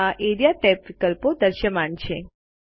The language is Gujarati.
આ એઆરઇએ ટેબ વિકલ્પો દૃશ્યમાન છે